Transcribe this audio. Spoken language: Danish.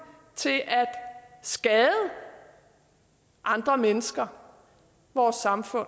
til at skade andre mennesker vores samfund